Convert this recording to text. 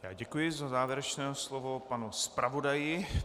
Já děkuji za závěrečné slovo panu zpravodaji.